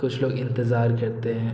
कुछ लोग इंतज़ार करते हैं।